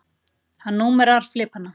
Hann númerar flipana.